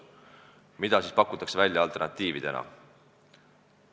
Mida siis pakutakse välja alternatiividena?